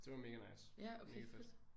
Det var mega nice mega fedt